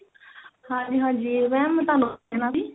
ਹਾਂਜੀ ਹਾਂਜੀ mam ਤੁਹਾਨੂੰ ਪੁੱਛਣਾ ਸੀ